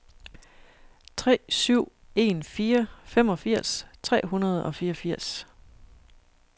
tre syv en fire femogfirs tre hundrede og fireogfirs